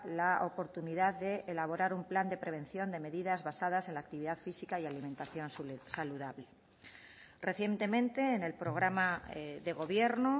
la oportunidad de elaborar un plan de prevención de medidas basadas en la actividad física y alimentación saludable recientemente en el programa de gobierno